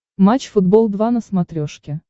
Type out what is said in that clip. матч футбол два на смотрешке